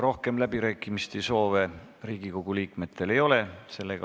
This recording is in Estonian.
Rohkem läbirääkimiste soove Riigikogu liikmetel ei ole.